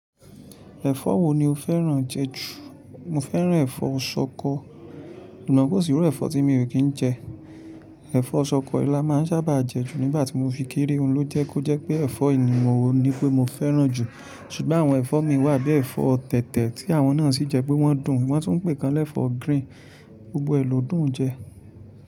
Ẹ̀fọ́ wo ni o fẹ́ràn jẹ jù? Mo fẹ́ràn ẹ̀fọ́ ṣọkọ, amo ko si iru ẹ̀fọ́ tí mo ò kí ń jẹ. Ẹ̀fọ́ ṣọkọ la má ń sábà jẹ jù nígbà tí mo fi kéré òun lo jẹ́ kó jẹ́ pé ẹ̀fọ́ ènìyàn wo ni pé mo fẹ́ràn jù. Ṣùgbọ́n àwọn ẹ̀fọ́ mi wà bíi ẹ̀fọ́ tẹ̀tẹ̀ tí àwọn náà sì jẹ́ pé wọ́n dùn, wọ́n tún ń pè kàn lẹ́ ẹ̀fọ́ green, gbogbo ẹ̀ lọ dùn jẹ.